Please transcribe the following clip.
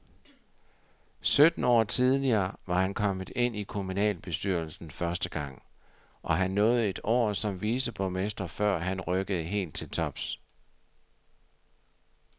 Sytten år tidligere var han kommet ind i kommunalbestyrelsen første gang, og han nåede et år som viceborgmester, før han rykkede helt til tops.